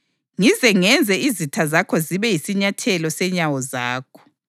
ngize ngenze izitha zakho zibe yisinyathelo senyawo zakho.” + 2.35 AmaHubo 110.1’